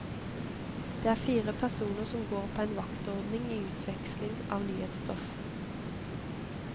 Det er fire personer som går på en vaktordning i utveksling av nyhetsstoff.